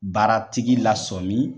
Baara tigi lasɔmin